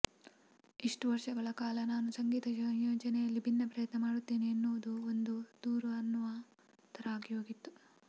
ಇಷ್ಟು ವರ್ಷಗಳ ಕಾಲ ನಾನು ಸಂಗೀತ ಸಂಯೋಜನೆಯಲ್ಲಿ ಭಿನ್ನ ಪ್ರಯತ್ನ ಮಾಡುತ್ತೇನೆ ಎನ್ನುವುದು ಒಂದು ದೂರು ಅನ್ನುವ ಥರ ಆಗಿಹೋಗಿತ್ತು